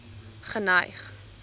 geneig